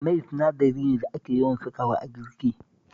Mai sinadari ne da ake yawan sakawa a girki